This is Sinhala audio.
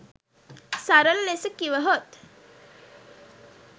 සරල ලෙස කිවහොත්